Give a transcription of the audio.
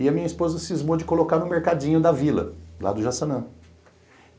E a minha esposa cismou de colocar no mercadinho da vila, lá do Jaçanã.